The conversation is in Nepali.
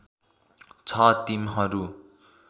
छ टिमहरू